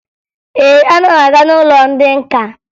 Ee, ana m aga n'ụlọ ndị nka